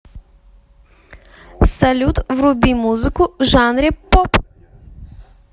салют вруби музыку в жанре поп